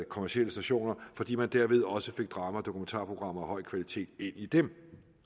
kommercielle stationer fordi man derved også fik drama og dokumentarprogrammer af høj kvalitet ind i dem